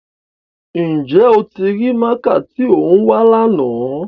Njẹ o ti rii máaka ti o n wa làná?